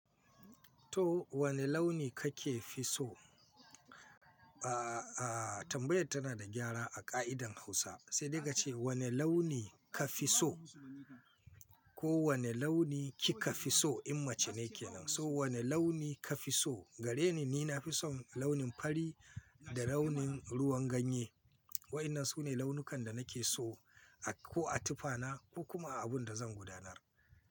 To wane launi kake fi so? Aaa, tambayar tana da gyara a ka'idar Hausa, sai digaci wane launi ka fi so ko wane launi kika fi so, in mace ne kenan. So wane launi ka fi so? Gareni ni na fi son launin fari da launin ruwan ganye. Waɗannan su ne launukan da nake so a ko a tufana ko kuma a abun da zan gudanar.